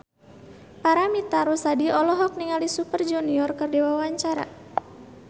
Paramitha Rusady olohok ningali Super Junior keur diwawancara